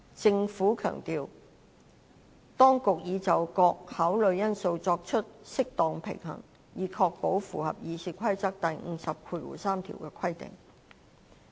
政府當局強調，當局已就各考慮因素作出適當平衡，以確保符合《議事規則》第503條的規定。